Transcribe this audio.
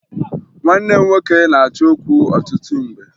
Nwanne m nwoke na-achọ okwu ọtụtụ mgbe